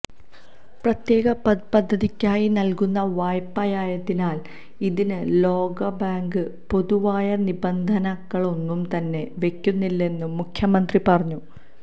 പ്രത്യേക പദ്ധതിക്കായി നല്കുന്ന വായ്പയായതിനാല് ഇതിന് ലോകബാങ്ക് പൊതുവായ നിബന്ധനകളൊന്നും തന്നെ വയ്ക്കുന്നില്ലെന്നും മുഖ്യമന്ത്രി പറഞ്ഞു